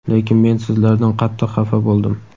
lekin men sizlardan qattiq xafa bo‘ldim.